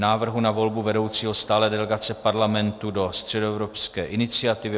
Návrh na volbu vedoucího stálé delegace Parlamentu do Středoevropské iniciativy